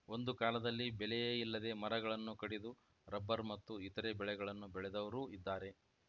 ಒಂದು ಕಾಲದಲ್ಲಿ ಬೆಲೆಯೇ ಇಲ್ಲದೆ ಮರಗಳನ್ನು ಕಡಿದು ರಬ್ಬರ್‌ ಮತ್ತು ಇತರೆ ಬೆಳೆಗಳನ್ನು ಬೆಳೆದವರೂ ಇದ್ದಾರೆ